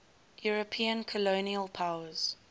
european colonial powers